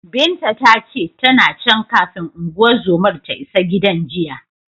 Binta ta ce, tana can, kafin unguwar zomar ta isa gidan jiya.